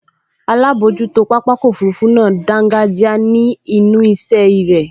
Alábojútó pápákọ̀ òfurufú náà dángájíá ní ẹnu ìṣẹ́ irẹ̀